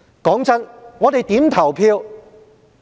坦白說，我們如何投票